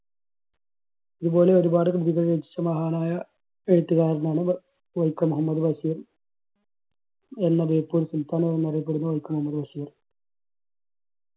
ഇതുപോലെ ഒരുപാട് കൃതികൾ രചിച്ച മഹാനായ എഴുത്തുകാരനാണ് വൈ~വൈക്കം മുഹമ്മദ് ബഷീർ. എന്ന ബേപ്പൂർ സുൽത്താൻ എന്നറിയപ്പെടുന്ന വൈക്കം മുഹമ്മദ് ബഷീർ.